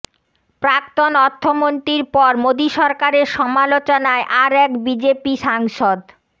প্রাক্তন অর্থমন্ত্রীর পর মোদী সরকারের সমালোচনায় আর এক বিজেপি সাংসদ